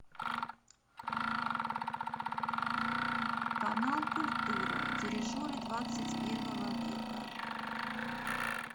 канал культура дирижеры двадцать первого века